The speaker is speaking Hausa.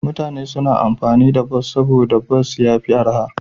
Mutane suna amfani da bas saboda bas ya fi arha.